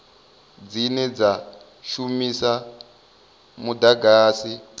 dzine dza shumisa mudagasi wo